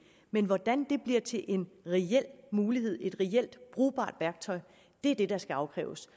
men hvordan det bliver til en reel mulighed et reelt brugbart værktøj er det der skal afkræves